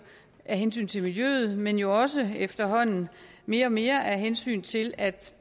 af hensyn til miljøet men jo også efterhånden mere og mere af hensyn til at